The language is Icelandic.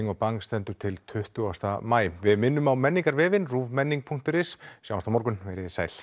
og bang stendur til tuttugasta maí við minnum á menningarvefinn rúvmenning punktur is sjáumst á morgun veriði sæl